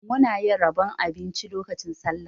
Muna yin rabon abinci lokacin Sallah.